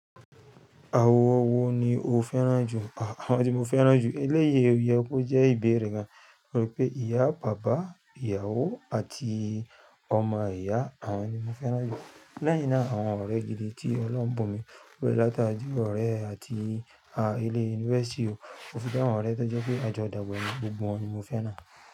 Àwọn wo ni o fẹ́ràn jù? Àwọn tí mo fẹ́ràn jù, eléyìí o yẹ kó jẹ́ ìbéèrè gan. Mo rò pé ìyá, bàbá, ìyàwó àti ọmọ ìyá, àwọn ni mo fẹ́ràn jù. Leyin náà àwọn ọ̀rẹ́ gidi tí Ọlọ́run bù n mi lórí láti ọ̀rẹ́ àti ile yunifásítì o. To fi de àwọn ọ̀rẹ́ tó jẹ́ pé a jọ dàgbà, gbogbo wọn ni mo fẹ́ràn.